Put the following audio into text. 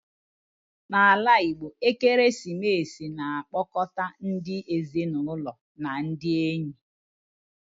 Na ala Igbo, ekeresimesi na akpọkọta ndi ezinụlọ na ndị enyi